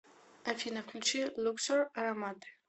афина включи люксор ароматы